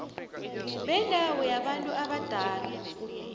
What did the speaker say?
bendawo yabantu abadala